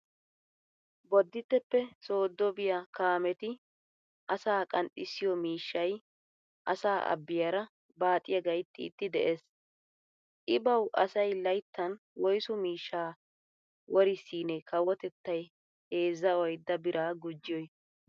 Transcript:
Bodditteppe sooddo biya kaameti asaa qanxxissiyo miishshay asaa abbiyara baaxiya gayttiiddi de'ees. I bawu asay layttan woysu miishshaa worissiinee kawotettay heezzaa oydda biraa gujjiyoy!